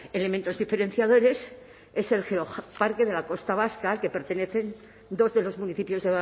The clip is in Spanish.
elementos diferenciadores es el geoparque de la costa vasca al que pertenecen dos de los municipios